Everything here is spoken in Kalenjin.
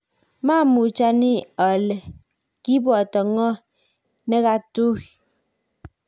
maamuch ani ale kiboto ng'o ne katui